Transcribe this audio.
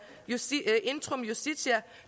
intrum justitia